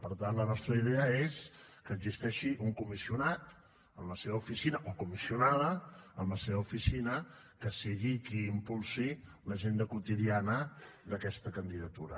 per tant la nostra idea és que existeixi un comissionat amb la seva oficina o comissionada que sigui qui impulsi l’agenda quotidiana d’aquesta candidatura